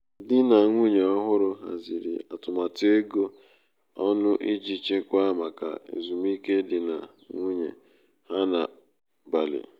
di na nwunye ọhụrụ haziri nwunye ọhụrụ haziri um atụmatụ ego um ọnụ iji chekwaa maka ezumike di na nwunye ha na um bali.